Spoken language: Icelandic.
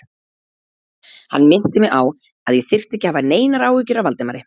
Hann minnti mig á, að ég þyrfti ekki að hafa neinar áhyggjur af Valdimari